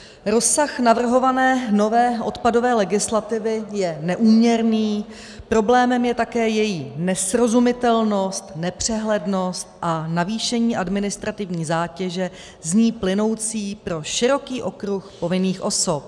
Rozsah navrhované nové odpadové legislativy je neúměrný, problémem je také její nesrozumitelnost, nepřehlednost a navýšení administrativní zátěže z ní plynoucí pro široký okruh povinných osob.